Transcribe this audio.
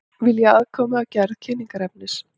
Vilja aðkomu að gerð kynningarefnis